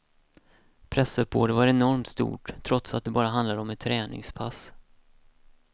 Pressuppbådet var enormt stort trots att det bara handlade om ett träningspass.